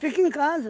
Fica em casa.